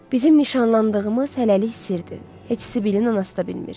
Bizim nişanlandığımız hələlik sirdir, heç Sibilin anası da bilmir.